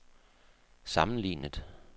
sammenlignet